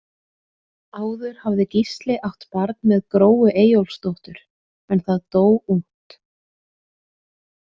Áður hafði Gísli átt barn með Gróu Eyjólfsdóttur en það dó ungt.